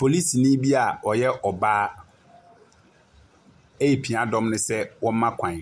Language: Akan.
Polisini bi a ɔyɛ ɔbaa repia dɔm no sɛ wɔmma kwan.